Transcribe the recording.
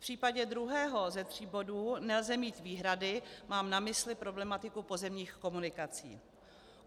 V případě druhého ze tří bodů nelze mít výhrady - mám na mysli problematiku pozemních komunikací.